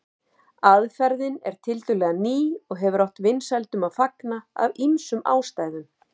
Aðferðin er tiltölulega ný og hefur átt vinsældum að fagna af ýmsum ástæðum.